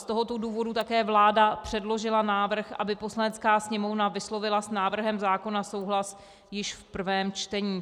Z tohoto důvodu také vláda předložila návrh, aby Poslanecká sněmovna vyslovila s návrhem zákona souhlas již v prvém čtení.